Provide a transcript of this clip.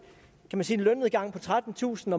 lønnedgang på trettentusind